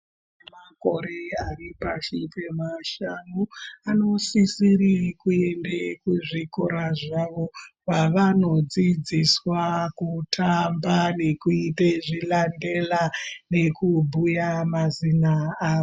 Vane makore ari pasi pemashanu anosisire kuende kuzvikora zvavo kwavanodzidziswa kutamba nekuti zvilandela nekubhuya mazina avo.